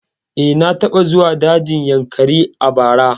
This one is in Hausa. Eh, na taɓa zuwa dajin Yankari a bara